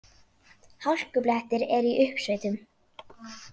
Hálkublettir eru í uppsveitum